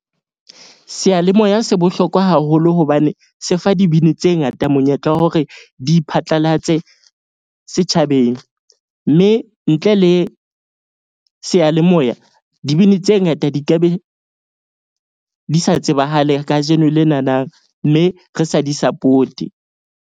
Seyalemoya se bohlokwa haholo hobane se fa dibini tse ngata monyetla wa hore di phatlalatse setjhabeng. Mme ntle le seyalemoya, dibini tse ngata di ka be di sa tsebahale kajeno lenanang. Mme re sa di-support-e.